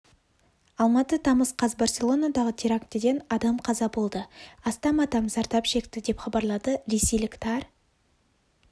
алматы тамыз қаз барселонадағы терактіден адам қаза болды астам адам зардап шекті деп хабарлады ресейлік тар